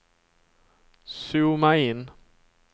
zooma in